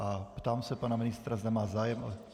A ptám se pana ministra, zda má zájem...